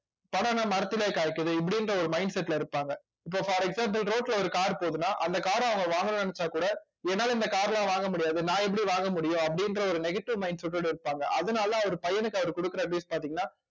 பணம் என்ன மரத்திலேயே காய்க்குது இப்படின்ற ஒரு mindset ல இருப்பாங்க இப்ப for example road ல ஒரு car போகுதுன்னா அந்த car அ அவங்க வாங்கணும்ன்னு நினைச்சா கூட என்னால இந்த car எல்லாம் வாங்க முடியாது நான் எப்படி வாங்க முடியும் அப்படின்ற ஒரு negative mindset ஓட இருப்பாங்க அதனால அவர் பையனுக்கு அவர் கொடுக்கிற பார்த்தீங்கன்னா